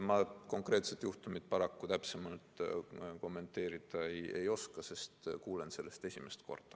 Ma konkreetset juhtumit paraku täpsemalt kommenteerida ei oska, sest kuulen sellest esimest korda.